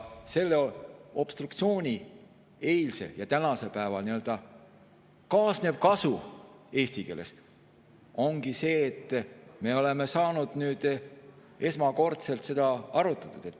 Selle obstruktsiooniga eilsel ja tänasel päeval nii-öelda kaasnev kasu, eesti keeles öelduna, ongi see, et me oleme esmakordselt saanud seda arutada.